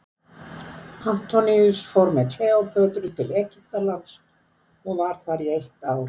Antoníus fór með Kleópötru til Egyptalands og var þar í eitt ár.